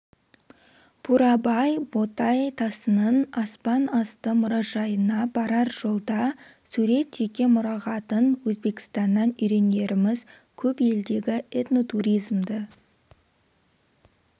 бурабай ботай тасының аспан асты мұражайына барар жолда сурет жеке мұрағатан өзбекстаннан үйренеріміз көп елдегі этнотуризмді